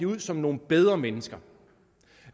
ud som nogle bedre mennesker